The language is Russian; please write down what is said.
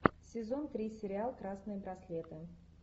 сезон три сериал красные браслеты